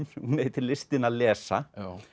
sem heitir listin að lesa